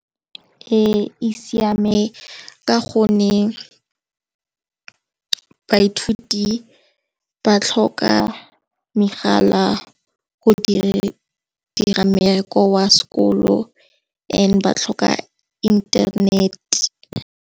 Ee, e siame ka gonne baithuti ba tlhoka megala go dira mmereko wa sekolo and ba tlhoka internet.